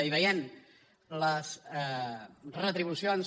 hi veiem les retribucions